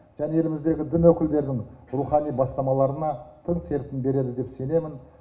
және еліміздегі дін өкілдердің рухани бастамаларына тын серпін береді деп сенемін